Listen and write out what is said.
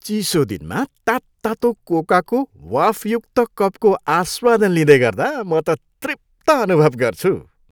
चिसो दिनमा तात्तातो कोकाको वाफयुक्त कपको आस्वादन लिँदै गर्दा म त तृप्त अनुभव गर्छु।